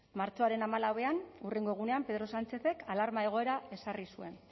martxoaren hamalauean hurrengo egunean pedro sánchezek alarma egoera ezarri zuen